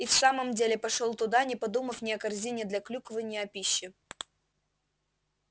и в самом деле пошёл туда не подумав ни о корзине для клюквы ни о пище